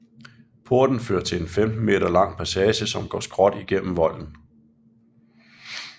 Porten fører til en 15 meter lang passage som går skråt igennem volden